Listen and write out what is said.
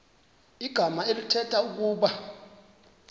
igama elithetha ukuba